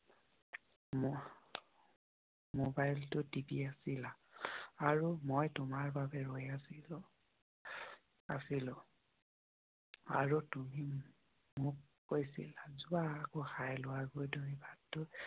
মবাইলটো টিপি আছিলা আৰু মই তোমাৰ বাবে ৰৈ আছিলোঁ। আৰু তুমি মোক কৈছিলা চোৱা বাদ দিও।